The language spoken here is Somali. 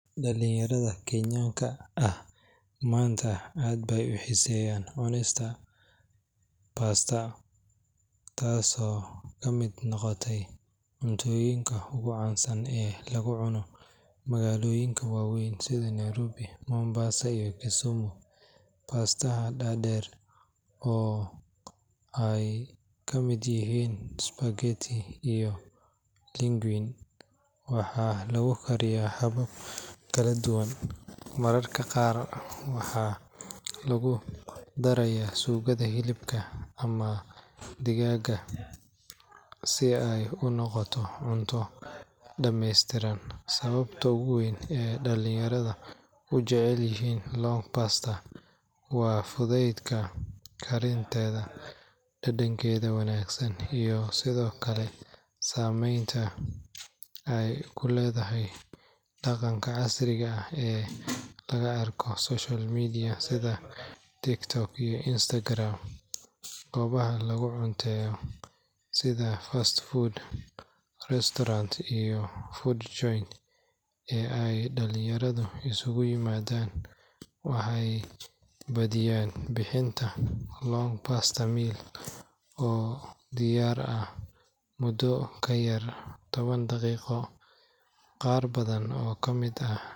Dhallinyarada Kenyaanka ah maanta aad bay u xiiseeyaan cunista pasta, taasoo ka mid noqotay cuntooyinka ugu caansan ee lagu cuno magaalooyinka waaweyn sida Nairobi, Mombasa iyo Kisumu. Pasta-ha dhaadheer, oo ay kamid yihiin spaghetti iyo linguine, waxaa lagu kariyaa habab kala duwan, mararka qaarna waxaa lagu darayaa suugada hilibka ama digaagga si ay u noqoto cunto dhameystiran. Sababta ugu weyn ee dhallinyarada u jecel yihiin long pasta waa fudaydka karinteeda, dhadhankeeda wanaagsan, iyo sidoo kale saameynta ay ku leedahay dhaqanka casriga ah ee laga arko social media sida TikTok iyo Instagram. Goobaha laga cunteeyo sida fast food restaurants iyo food joints ee ay dhallinyaradu isugu yimaadaan waxay badiyaa bixiyaan long pasta meals oo diyaar ah muddo ka yar toban daqiiqo. Qaar badan oo ka mid ah.